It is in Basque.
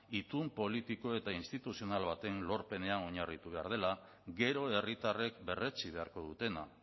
itun politiko eta instituzional baten lorpenean oinarritu behar dela gero herritarrek berretsi beharko dutena